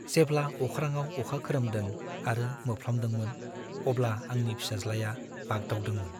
जेब्ला अख्राङाव अखा खोरोमदों आरो मोफ्लामदोंमोन अब्ला आंनि फिसाज्लाया बाग्दावदोंमोन।